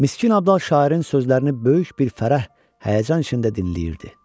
Miskin Abdal şairin sözlərini böyük bir fərəh, həyəcan içində dinləyirdi.